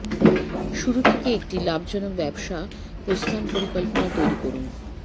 শুরু থেকে একটি লাভজনক ব্যবসা প্রস্থান পরিকল্পনা তৈরি করুন